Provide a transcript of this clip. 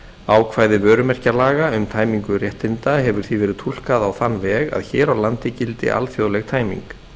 ákvæði vörumerkjalaga um tæmingu réttinda hefur því verið túlkað á þann veg að hér á landi gildi alþjóðleg tæming